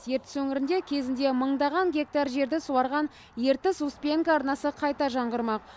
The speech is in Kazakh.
ертіс өңірінде кезінде мыңдаған гектар жерді суарған ертіс успенка арнасы қайта жаңғырмақ